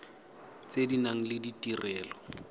tse di nang le ditirelo